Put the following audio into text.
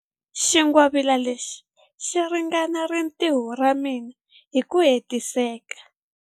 Xingwavila lexi xi ringanela rintiho ra mina hi ku hetiseka.